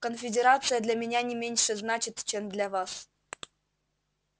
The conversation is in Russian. конфедерация для меня не меньше значит чем для вас